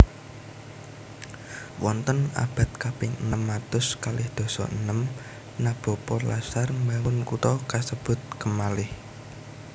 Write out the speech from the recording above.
Wonten abad kaping enem atus kalih dasa enem Nabopo lasar mbangun kutha kasebut kemalih